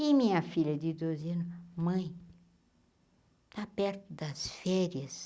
E minha filha de doze ano, mãe, está perto das férias.